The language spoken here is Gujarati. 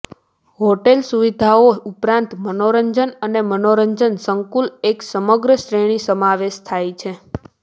હોટેલ સુવિધાઓ ઉપરાંત મનોરંજન અને મનોરંજન સંકુલ એક સમગ્ર શ્રેણી સમાવેશ થાય છે